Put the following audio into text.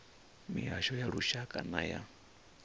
mihasho ya lushaka na ya